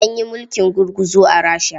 An yi mulkin gurguzu a Rasha.